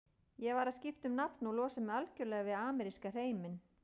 Ég varð að skipta um nafn og losa mig algjörlega við ameríska hreiminn.